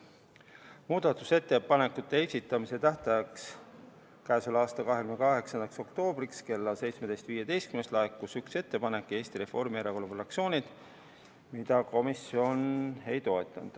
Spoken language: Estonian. Muudatusettepanekute esitamise tähtajaks, k.a 28. oktoobriks kella 17.15‑ks laekus üks ettepanek Eesti Reformierakonna fraktsioonilt, komisjon seda ei toetanud.